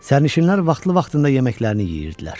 Sərnişinlər vaxtlı-vaxtında yeməklərini yeyirdilər.